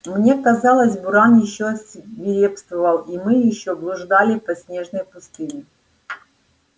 мне казалось буран ещё свирепствовал и мы ещё блуждали по снежной пустыне